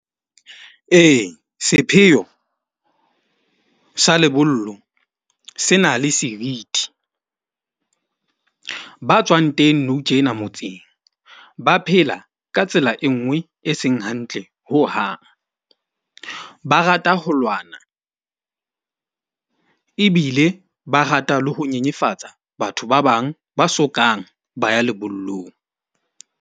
Ee, sepheo sa lebollo se na le serithi. Ba tswang teng nou tjena motseng ba phela ka tsela e nngwe e seng hantle hohang. Ba rata ho lwana, ebile ba rata le ho nyenyefatsa batho ba bang ba sokang ba ya lebollong.